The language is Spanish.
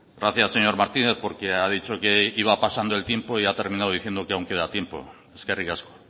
gracias señor martínez porque ha dicho que iba pasando el tiempo y ha terminado diciendo que aún queda tiempo eskerrik asko